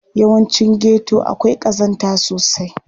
Yawancin geto akwai ƙazanta sosai.